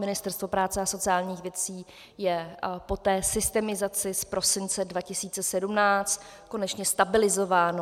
Ministerstvo práce a sociálních věcí je po té systemizaci z prosince 2017 konečně stabilizováno.